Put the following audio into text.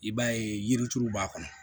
I b'a ye yirituru b'a kɔnɔ